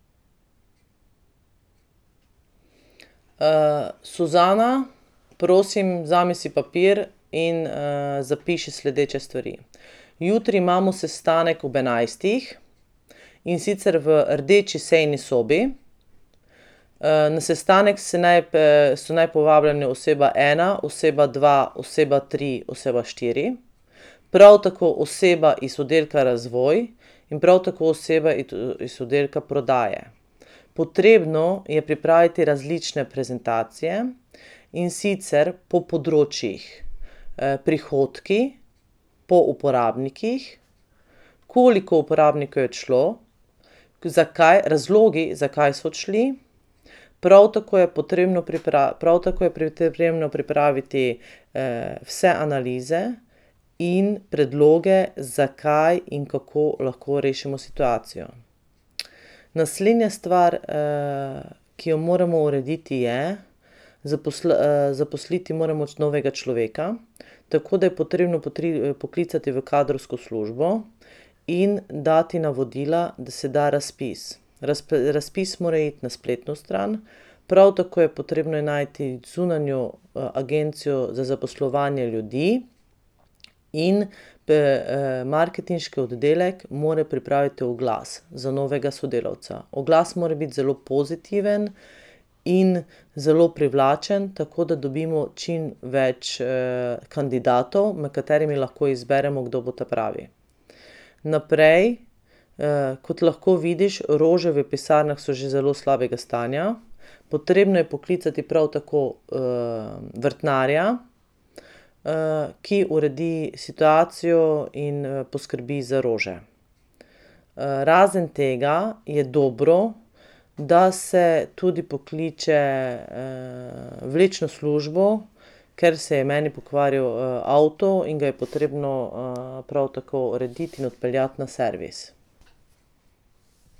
Suzana, prosim, vzemi si papir in zapiši sledeče stvari. Jutri imamo sestanek ob enajstih, in sicer v rdeči sejni sobi, na sestanek se naj so naj povabljene oseba ena, oseba dva, oseba tri, oseba štiri, prav tako oseba iz Oddelka razvoj in prav tako oseba iz Oddelka prodaje. Potrebno je pripraviti različne prezentacije, in sicer po področjih: prihodki, po uporabnikih, koliko uporabnikov je odšlo, zakaj, razlogi, zakaj so odšli, prav tako je potrebno prav tako je pri potrebno pripraviti, vse analize in predloge, zakaj in kako lahko rešimo situacijo. Naslednja stvar ki jo moramo urediti, je zaposliti moramo novega človeka, tako da je potrebno poklicati v kadrovsko službo in dati navodila, da se da razpis. razpis mora iti na spletno stran, prav tako je potrebno najti zunanjo agencijo za zaposlovanje ljudi in marketinški oddelek mora pripraviti oglas za novega sodelavca. Oglas mora biti zelo pozitiven in zelo privlačen, tako da dobimo čim več kandidatov, med katerimi lahko izberemo, kdo bo ta pravi. Naprej, kot lahko vidiš, rože v pisarnah so že zelo slabega stanja, potrebno je poklicati prav tako vrtnarja, ki uredi situacijo in poskrbi za rože. razen tega je dobro, da se tudi pokliče vlečno službo, ker se je meni pokvaril avto in ga je potrebno prav tako urediti in odpeljati na servis.